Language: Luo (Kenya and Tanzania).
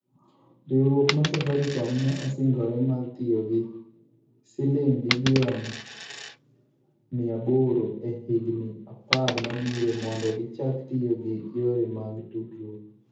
Riwruok mar Safaricom ne osingore mar tiyo gi siling bilion 800 e higini 10 mabiro mondo gichak tiyo gi yore mag tudruok.